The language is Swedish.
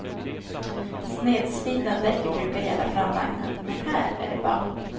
Snedslitna däck brukar gälla framvagnar, men här är det bak.